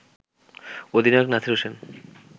অধিনায়ক নাসির হোসেন